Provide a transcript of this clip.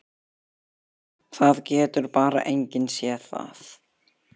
Það getur bara enginn séð það.